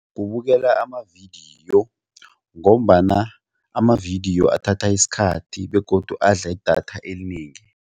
Kubukela amavidiyo ngombana amavidiyo athatha isikhathi begodu adla idatha elinengi.